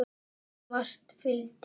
Margt fylgdi.